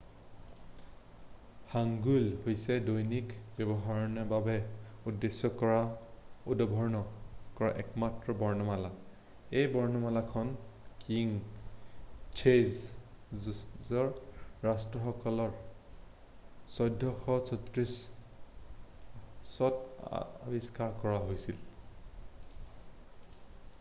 "hangeul হৈছে দৈনিক ব্যৱহাৰৰ বাবে উদ্দেশ্য কৰি উদ্ভাৱন কৰা একমাত্ৰ বৰ্ণমালা। এই বৰ্ণমালাখন কিং ছেজ'ঙৰ ৰাজত্বকাল ১৪৪৪-ত আৱিষ্কাৰ কৰা হৈছিল১৪১৮ – ১৪৫০।""